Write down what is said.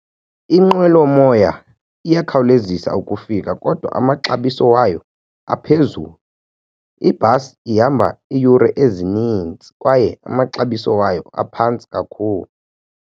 Inqwelomoya iyakhawulezisa ukufika kodwa amaxabiso wayo aphezulu. Ibhasi ihamba iiyure ezinintsi kwaye amaxabiso wayo aphantsi kakhulu.